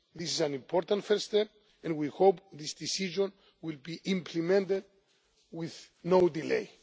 This is an important first step and we hope this decision will be implemented with no delay.